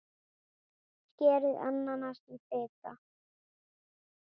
Skerið ananas í litla bita.